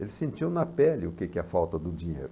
Ele sentiu na pele o que que é a falta do dinheiro.